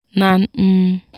nan um